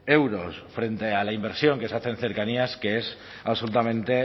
euros frente a la inversión que se hace en cercanías que es absolutamente